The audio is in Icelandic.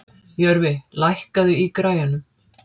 Jörfi, lækkaðu í græjunum.